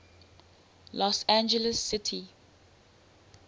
los angeles city